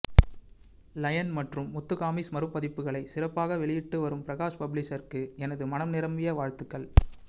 line மற்றும் முத்துகாமிக்ஸ் மறுபதிப்புகளைச் சிறப்பாக வெளியிட்டு வரும் பிரகாஷ் பப்ளிஷர்ஸ்க்கு எனது மனம் நிரம்பிய வாழ்த்துகள்